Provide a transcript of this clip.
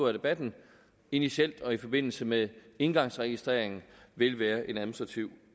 af debatten initielt og i forbindelse med engangsregistreringen vil være en administrativ